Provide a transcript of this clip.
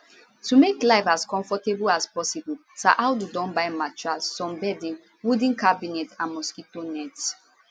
to make life as comfortable as possible saadu don buy mattress some bedding wooden cabinet and mosquito net